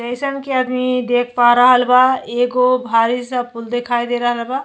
जइसन की आदमी देख पा रहल बा एगो भारी सा पूल दिखाई दे रहल बा।